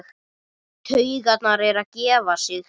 Taugarnar að gefa sig.